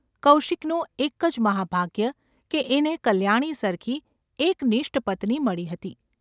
કૌશિકનું એક જ મહાભાગ્ય કે એને કલ્યાણી સરખી એકનિષ્ટ પત્ની મળી હતી.